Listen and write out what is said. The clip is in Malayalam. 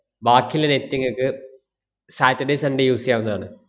ബാക്കിയിള്ള net ഇങ്ങക്ക് saturday sunday use ചെയ്യാവുന്നതാണ്.